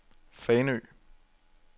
Fanø